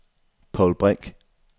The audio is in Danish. Povl Brink